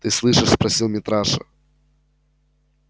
ты слышишь спросил митраша